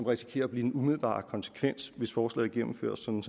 risikerer at blive den umiddelbare konsekvens hvis forslaget gennemføres som